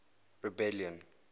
rebellion